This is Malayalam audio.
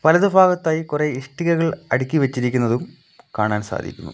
വലതു ഫാഗത്തായി കുറേ ഇഷ്ടികകൾ അടുക്കി വച്ചിരിക്കുന്നതും കാണാൻ സാധിക്കുന്നു.